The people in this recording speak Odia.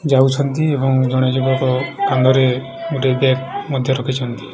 ଯାଇଛନ୍ତି ଏବଂ ଜଣେ ଯୁବକ କାନ୍ଧରେ ଗୋଟେ ବେମଧ୍ୟ ରଖିଛନ୍ତି।